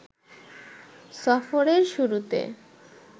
সফরের শুরুতে